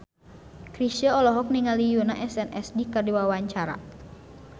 Chrisye olohok ningali Yoona SNSD keur diwawancara